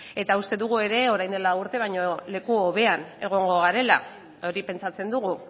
eta uste dugu ere orain dela lau urte baino leku hobean egongo garela hori pentsatzen dugu